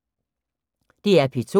DR P2